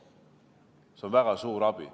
See on väga suur abi.